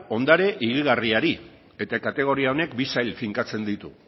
ondare higigarriari eta kategoria honek bi sail finkatzen ditu